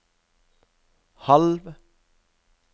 halv